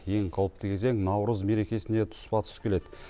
ең қауіпті кезең наурыз мерекесіне тұспа тұс келеді